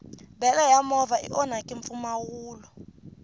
bele ya movha i onhakini mpfumawulo